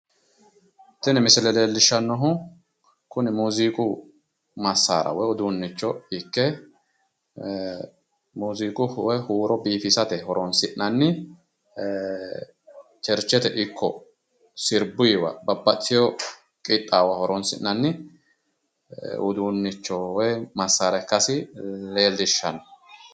Tini misile leelishanohu kunni muuziiqu massaara woyi uduunnicho ikke muuziiqu woyi huuro biifissate horoonsi'nanni cherchete ikko sirbuyiwa babbaxiteo qaxaawora horoonsi'nanni uduunicho(massara) ikkasi leelishano.